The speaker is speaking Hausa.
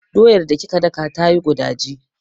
Doyar da kika daka tayi gudaji.